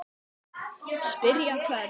Spyrja hvern?